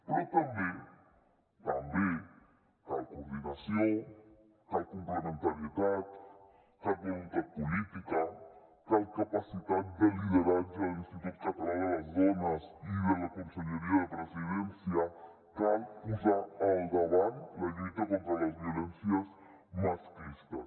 però també també cal coordinació cal complementarietat cal voluntat política cal capacitat de lideratge de l’institut català de les dones i de la conselleria de la presidència cal posar al davant la lluita contra les violències masclistes